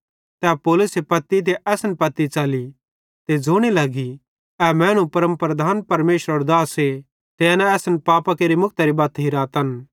तै पौलुसे पत्ती ते असन पत्ती च़ली ते ज़ोने लगी ए मैनू परमप्रधान परमेशरेरो दासे ते एना असन पापां केरि मुक्तरी बत्त हिरातन